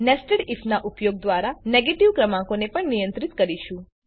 આપણે nested IF નાં ઉપયોગ દ્વારા નેગેટીવ ક્રમાંકોને પણ નિયંત્રિત કરીશું